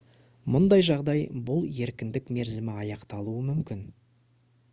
мұндай жағдай бұл еркіндік мерзімі аяқталуы мүмкін